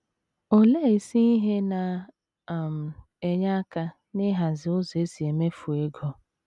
Olee isi ihe na um - enye aka n’ịhazi ụzọ e si emefu ego.